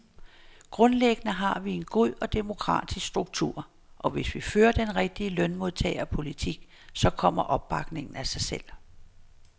Grundlæggende har vi en god og demokratisk struktur, og hvis vi fører den rigtige lønmodtagerpolitik, så kommer opbakningen af sig selv.